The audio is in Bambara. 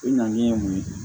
I ŋaniya ye mun ye